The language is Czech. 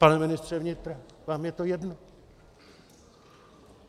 Pane ministře vnitra, vám je to jedno?